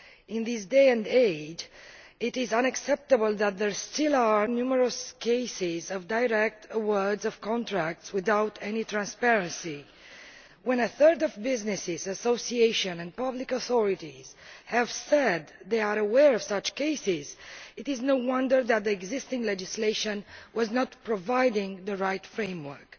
In this day and age it is unacceptable that there are still numerous cases of contracts being directly awarded without any transparency. When a third of businesses, associations and public authorities have said they are aware of such cases, it is no wonder that the existing legislation is not providing the right framework.